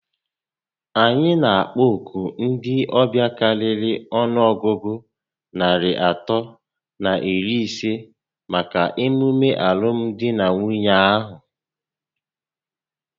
Anyị na akpọ òkù ndị ọbịa karịrị ọnụọgụgụ narị atọ na iri isé màkà emume alụmdi na Nwunye ahụ